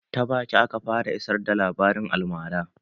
Ta baki aka fara isar da labarin almara